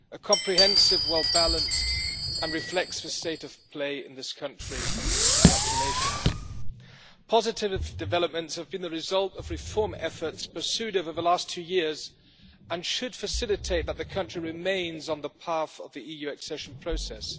comprehensive, well balanced and reflects the state of play in this country. Congratulations. Positive developments have been the result of reform efforts pursued over the last two years and should facilitate the country remaining on the path of the EU accession process.